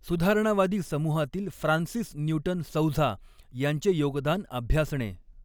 सुधारणावादी समुहातील फ्रान्सीन न्यूटन सौझा यांचे योगदान अभ्यासणे.